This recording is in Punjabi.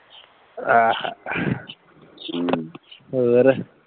ਆਹ ਹਮ ਹੋਰ